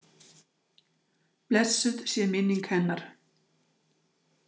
Blessuð sé minning hennar.